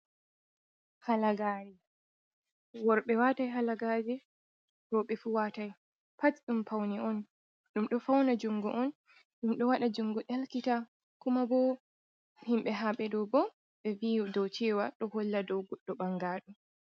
Halagare ,worɓe watai halagaje roɓe fu watai, pat ɗum do fauna jungo on dum do waɗa jungo dalkita, kuma bo himɓe haɓeɗo bo ɓe vi do cewa ɗo holla dow goddo ɓangado.